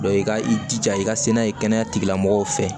i ka i jija i ka se n'a ye kɛnɛya tigilamɔgɔw fɛ